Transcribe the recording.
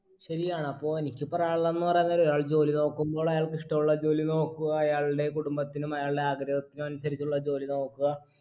ശരിയാണ് അപ്പൊ എനിക്ക് പറയാനുള്ളന്ന് പറയാൻ നേരം ഒരാള്‍ ജോലി നോക്കുമ്പോൾ അയാൾക്ക് ഇഷ്ട്ടുള്ള ജോലി നോക്കുക അയാളുടെ കുടുംബത്തിനും അയാളുടെ ആഗ്രഹത്തിനും അനുസരിച്ചുള്ള ജോലി നോക്കുക